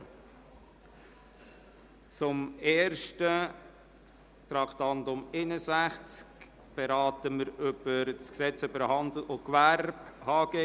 Als Erstes beraten wir das Traktandum 61, das Gesetz über Handel und Gewerbe (HGG).